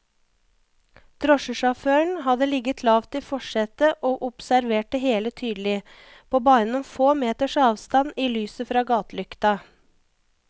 Drosjesjåføren hadde ligget lavt i forsetet og observert det hele tydelig, på bare noen få meters avstand i lyset fra gatelykta.